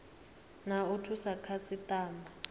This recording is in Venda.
na wa u thusa khasitama